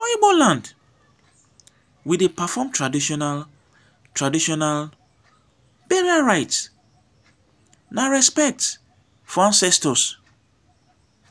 for igbo land we dey perform traditional traditional burial rites na respect for ancestors.